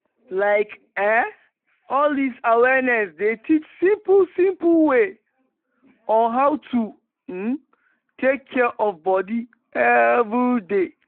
like eh all dis awareness dey teach simple simple way on how to um take care of body everyday.